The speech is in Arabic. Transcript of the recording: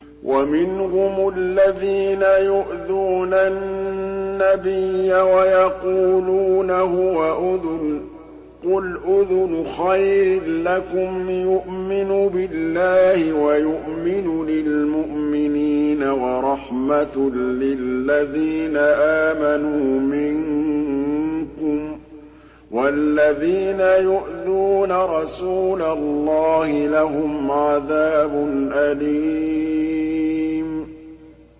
وَمِنْهُمُ الَّذِينَ يُؤْذُونَ النَّبِيَّ وَيَقُولُونَ هُوَ أُذُنٌ ۚ قُلْ أُذُنُ خَيْرٍ لَّكُمْ يُؤْمِنُ بِاللَّهِ وَيُؤْمِنُ لِلْمُؤْمِنِينَ وَرَحْمَةٌ لِّلَّذِينَ آمَنُوا مِنكُمْ ۚ وَالَّذِينَ يُؤْذُونَ رَسُولَ اللَّهِ لَهُمْ عَذَابٌ أَلِيمٌ